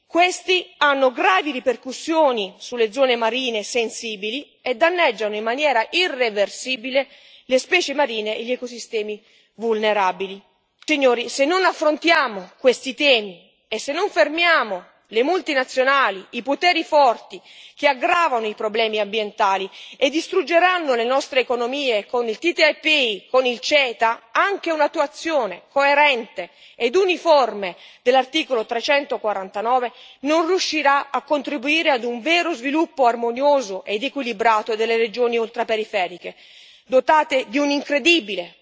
Questi hanno gravi ripercussioni sulle zone marine sensibili e danneggiano in maniera irreversibile le specie marine e gli ecosistemi vulnerabili. Signori, se non affrontiamo questi temi e se non fermiamo le multinazionali, i poteri forti, che aggravano i problemi ambientali e distruggeranno le nostre economie con il TTIP, con il CETA, anche un'attuazione coerente ed uniforme dell'articolo 349 non riuscirà a contribuire ad un vero sviluppo armonioso ed equilibrato delle regioni ultraperiferiche, dotate di un incredibile patrimonio naturalistico da tutelare e valorizzare.